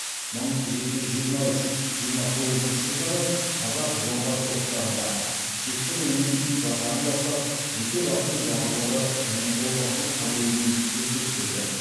мың жеті жүз жиырма үш жиырма тоғызыншы жылдары қазақ жоңғар соғыстарында шекті руының жасағын бастап жеке басының батырлығы және қолбасшылық қабілетімен көзге түседі